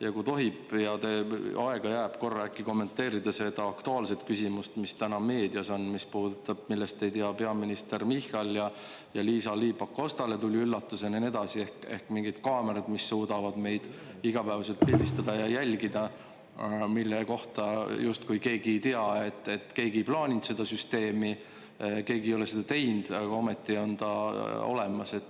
Ja kui tohib ja aega jääb, siis korra äkki kommenteerida seda aktuaalset küsimust, mis täna meedias on, mis puudutab, millest ei tea peaminister Michal ja Liisa-Ly Pakostale tuli üllatusena ja nii edasi, ehk mingid kaamerad, mis suudavad meid igapäevaselt pildistada ja jälgida, mille kohta justkui keegi ei tea, et keegi plaaninud seda süsteemi, keegi ei ole seda teinud, aga ometi on ta olemas.